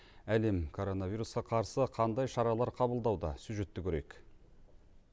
әлем коронавирусқа қарсы қандай шаралар қабылдауда сюжетті көрейік